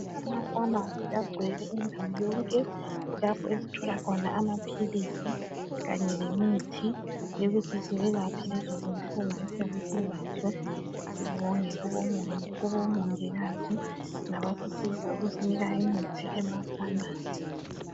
Ama"pharmacy" agcwele indawo yonke kulapho esithola khona amaphilisi kanye lemithi yokuthi siyelaphe lezo zinhlungu esiyabe silazo. Sibonge kubomongikazi labasisiza ukusinika imithi ema"pharmarcy ".